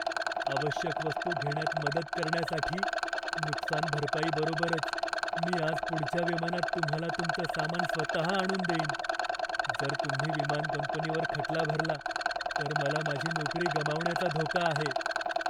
आवश्यक वस्तू घेण्यात मदत करण्यासाठी नुकसानभरपाई बरोबरच मी आज पुढच्या विमानात तुम्हाला तुमचं सामान स्वतः आणून देईन. जर तुम्ही विमान कंपनीवर खटला भरला तर मला माझी नोकरी गमावण्याचा धोका आहे.